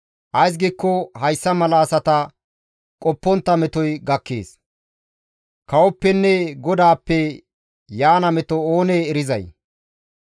Ays giikko hessa mala asata qoppontta metoy gakkees; kawoppenne GODAAPPE yaana meto oonee erizay?